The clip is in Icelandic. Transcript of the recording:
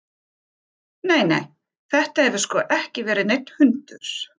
Nei, nei, þetta hefur sko ekki verið neinn hundur.